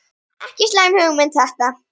Ekki slæm hugmynd þetta.